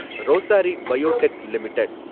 rosary biotech limited